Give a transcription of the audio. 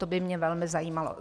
To by mě velmi zajímalo.